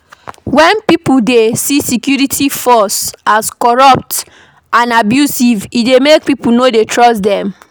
When pipo see security force as corrupt and abusive e dey make pipo no dey trust them